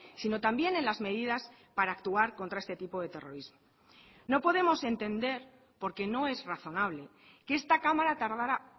sino también en las medidas para actuar contra este tipo de terrorismo no podemos entender porque no es razonable que esta cámara tardará